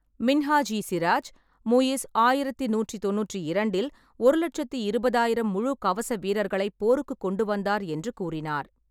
மின்ஹாஜ்-இ-சிராஜ், முயிஸ் ஆயிரத்து நூற்று தொண்ணூற்றிரண்டில் ஒரு லெட்சத்தி இருபதாயிரம் முழுக் கவச வீரர்களைப் போருக்குக் கொண்டுவந்தார் என்று கூறினார்.